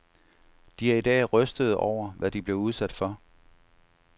De er i dag rystede over, hvad de blev udsat for.